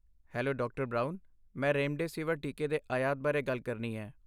Hello, ਡਾ. Brown. ਮੈਂ remdesivir ਟੀਕੇ ਦੇ ਆਯਾਤ ਬਾਰੇ ਗੱਲ ਕਰਨੀ ਹੈ।